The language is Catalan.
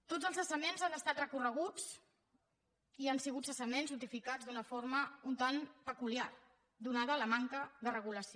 tots els cessaments han estat recorreguts i han sigut cessaments notificats d’una forma un tant peculiar atesa la manca de regulació